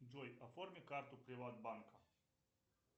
джой оформи карту приватбанка